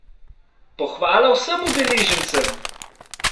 Pohvala vsem udeležencem!